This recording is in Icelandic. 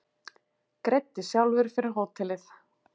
Greiddi sjálfur fyrir hótelið